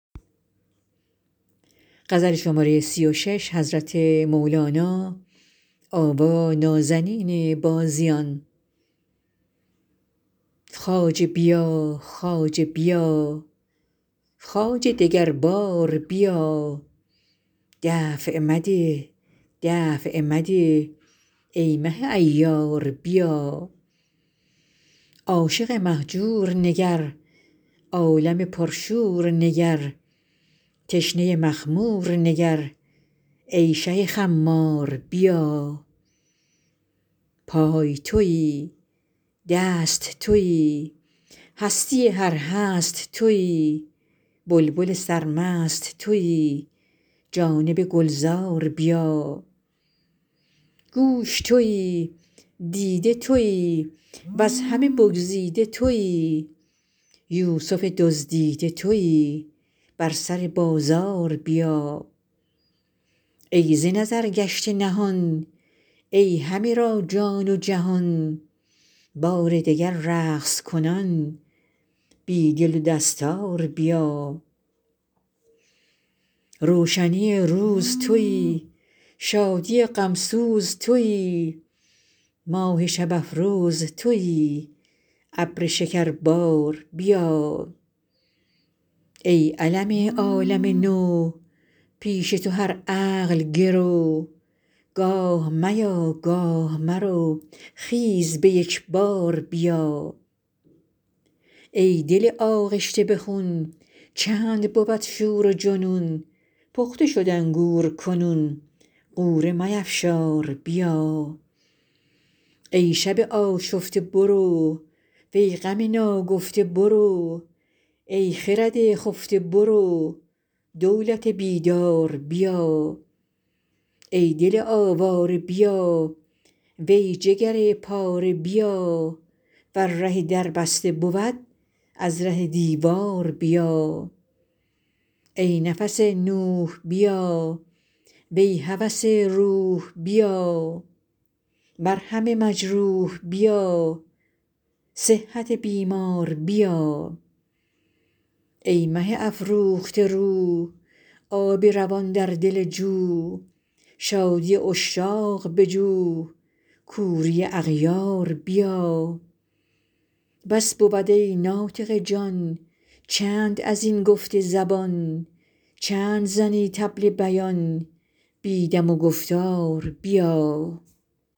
خواجه بیا خواجه بیا خواجه دگر بار بیا دفع مده دفع مده ای مه عیار بیا عاشق مهجور نگر عالم پرشور نگر تشنه مخمور نگر ای شه خمار بیا پای توی دست توی هستی هر هست توی بلبل سرمست توی جانب گلزار بیا گوش توی دیده توی وز همه بگزیده توی یوسف دزدیده توی بر سر بازار بیا ای ز نظر گشته نهان ای همه را جان و جهان بار دگر رقص کنان بی دل و دستار بیا روشنی روز توی شادی غم سوز توی ماه شب افروز توی ابر شکربار بیا ای علم عالم نو پیش تو هر عقل گرو گاه میا گاه مرو خیز به یک بار بیا ای دل آغشته به خون چند بود شور و جنون پخته شد انگور کنون غوره میفشار بیا ای شب آشفته برو وی غم ناگفته برو ای خرد خفته برو دولت بیدار بیا ای دل آواره بیا وی جگر پاره بیا ور ره در بسته بود از ره دیوار بیا ای نفس نوح بیا وی هوس روح بیا مرهم مجروح بیا صحت بیمار بیا ای مه افروخته رو آب روان در دل جو شادی عشاق بجو کوری اغیار بیا بس بود ای ناطق جان چند از این گفت زبان چند زنی طبل بیان بی دم و گفتار بیا